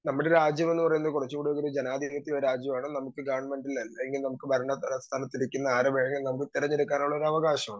Speaker 2 നമ്മുടെ രാജ്യമെന്ന് പറയുന്നത് കുറച്ചുടെ ഒരു ജനാധിപത്യ രാജ്യമാണ് നമക്ക് കാൺമതിൽ അല്ലെങ്കി നമുക്ക് വരണ പ്രസ്ഥാനത്തിലിരിക്കുന്ന ആരെ വേണമെങ്കിലും തെരഞ്ഞെടുക്കാനുള്ള ഒരവകാശമാണ്.